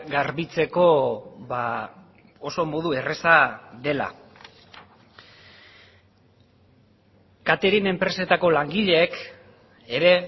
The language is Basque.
garbitzeko oso modu erraza dela catering enpresetako langileek ere